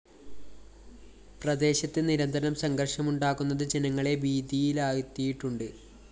പ്രദേശത്ത് നിരന്തരം സംഘര്‍ഷമുണ്ടാകുന്നത് ജനങ്ങളെ ഭീതിയിലാഴ്ത്തിയിട്ടുണ്ട്